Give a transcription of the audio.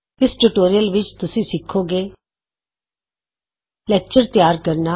ਇਸ ਟਯੂਟੋਰੀਅਲ ਵਿਚ ਤੁਸੀਂ ਸਿੱਖੋਗੇ ਲੈਕਚਰ ਤਿਆਰ ਕਰਨਾ